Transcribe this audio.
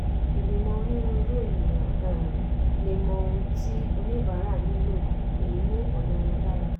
ìgbìmọ̀ onírúurú ènìyàn um lè mọ ohun tí oníbàárà nílò èyí mú ọ̀nà wọn dára.